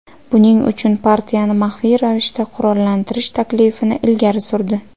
Buning uchun partiyani maxfiy ravishda qurollantirish taklifini ilgari surdi.